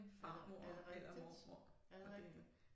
Er det er det rigtigt er det rigtigt